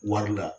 Wari la